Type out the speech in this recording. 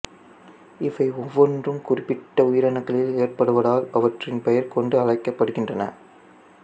இவை ஒவ்வொன்றும் குறிப்பிட்ட உயிரணுக்களில் ஏற்படுவதால் அவற்றின் பெயர் கொண்டு அழைக்கப்படுகின்றன